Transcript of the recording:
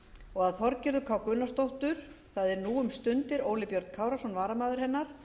og að þorgerður k gunnarsdóttir það er nú um stundir óli björn kárason varamaður hennar